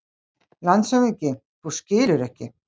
LANDSHÖFÐINGI: Þú skilur ekki!